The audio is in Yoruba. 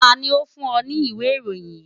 Ta ni ó fún ọ ní ìwé ìròyìn yìí?